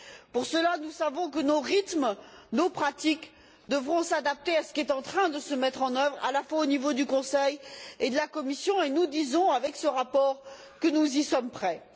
Pour cela, nous savons que nos rythmes, nos pratiques devront s'adapter à ce qui est en train de se mettre en œuvre à la fois au niveau du Conseil et de la Commission et nous disons avec ce rapport que nous y sommes prêts.